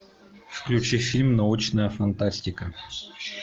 включи фильм научная фантастика